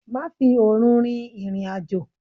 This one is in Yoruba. Má fi òru rin ìrìn àjò!